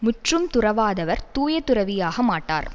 முற்றும் துறவாதவர் தூய துறவியாக மாட்டார்